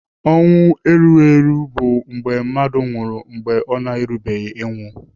Ọnwụ erugheru bụ mgbe mmadụ nwụrụ mgbe ọ na-erubeghị ịnwụ.